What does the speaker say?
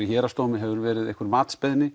Héraðsdómi hefur verið einhver